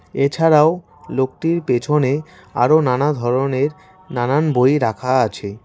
এছাড়াও লোকটির পেছনে আরও নানা ধরনের নানান বই রাখা আছে।